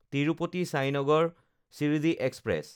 Tirupati Sainagar Shirdi express